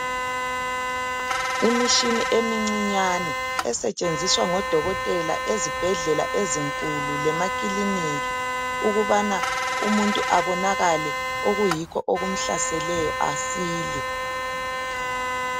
Imitshina emincinyane esetshenziswa ngodokotela ezibhedlela ezinkulu lemakilinika ukubana umuntu abonakale okuyikho okumhlaseleyo asile.